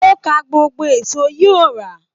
O kà gbogbo èso yí o ra.